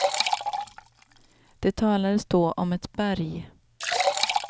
Det talades då om ett berg.